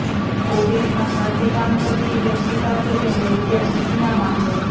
ઓફિસમાં સાથે કામ કરતી વ્યક્તિ પાસે તેણે રૂપિયા ઉછીના માગ્યા